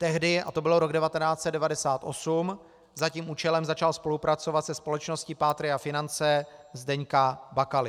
Tehdy, a to byl rok 1998, za tím účelem začal spolupracovat se společností Patria Finance Zdeňka Bakaly.